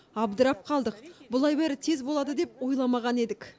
абдырап қалдық бұлай бәрі тез болады деп ойламаған едік